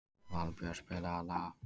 Valbjört, spilaðu lag.